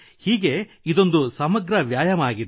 ಹೀಗೆ ಇದೊಂದು ಸಮಗ್ರ ವ್ಯಾಯಾಮವಾಗಿದೆ